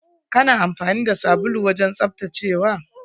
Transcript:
Kana amfani da sabulu wajen tsaftacewa?